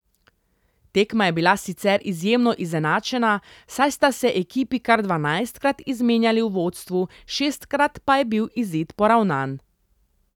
Tekma je bila sicer izjemno izenačena, saj sta se ekipi kar dvanajstkrat izmenjali v vodstvu, šestkrat pa je bil izid poravnan.